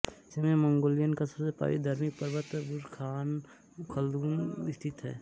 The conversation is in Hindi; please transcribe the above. इसमें मंगोलिया का सबसे पवित्र धार्मिक पर्वत बुरख़ान ख़लदुन स्थित है